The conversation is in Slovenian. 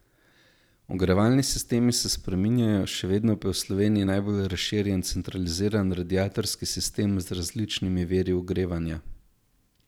Ogrevalni sistemi se spreminjajo, še vedno pa je v Sloveniji najbolj razširjen centraliziran radiatorski sistem z različnimi viri ogrevanja.